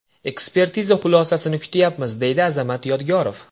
Ekspertiza xulosasini kutayapmiz, deydi Azamat Yodgorov.